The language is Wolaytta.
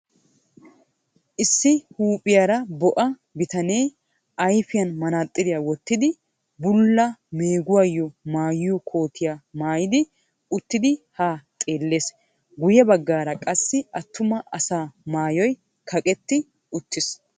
Issi huuphiyara bo"a bitanee ayfiyan manaxiriya wottidi bulla meeguwaayo maayiyo kootiya maayidi uttidi haa xeellees. Guyye baggaara qassi attuma asaa maayoy kaqetti uttis.